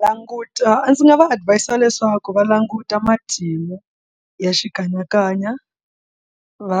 Va languta ndzi nga va adhivayisa leswaku va languta matimu ya xikanyakanya va